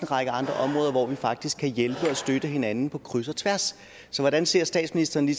række andre områder hvor vi faktisk kan hjælpe og støtte hinanden på kryds og tværs så hvordan ser statsministeren